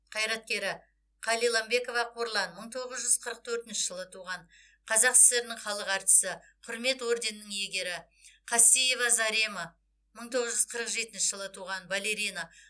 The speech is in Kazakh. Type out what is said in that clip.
қайраткері қалиламбекова қорлан мың тоғыз жүз қырық төртінші жылы туған қазақ сср інің халық артисі құрмет орденінің иегері қастеева зарема мың тоғыз жүз қырық жетінші жылы туған балерина